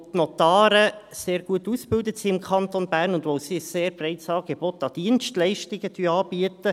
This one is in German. – Weil die Notare im Kanton Bern sehr gut ausgebildet sind und weil sie ein sehr breites Angebot an Dienstleistungen anbieten.